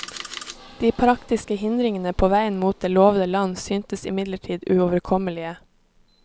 De praktiske hindringene på veien mot det lovede land syntes imidlertid uoverkommelige.